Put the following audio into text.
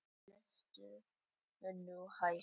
Lestu nú hægt!